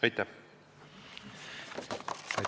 Aitäh!